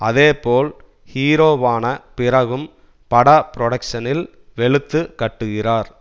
அதேபோல் ஹீரோவான பிறகும் பட புரொடக்ஷ்னில் வெளுத்து கட்டுகிறார்